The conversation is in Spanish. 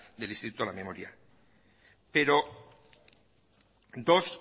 del instituto a la memoria pero dos